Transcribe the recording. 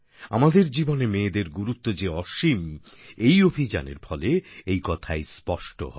আমাদের জীবনে মেয়েদের গুরুত্ব যে অসীম এই অভিযানের ফলে এই কথাই স্পষ্ট হয়